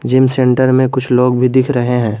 Gym centre में कुछ लोग भी दिख रहे हैं।